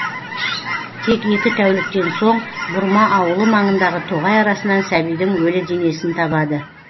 тек екі тәуліктен соң бұрма ауылы маңындағы тоғай арасынан сәбидің өлі денесін табады